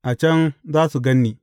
A can za su gan ni.